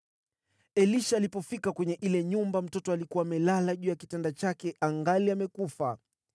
Elisha alipofika kwenye ile nyumba, mtoto alikuwa amelala juu ya kitanda chake angali amekufa.